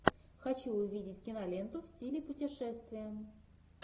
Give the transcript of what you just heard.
хочу увидеть киноленту в стиле путешествие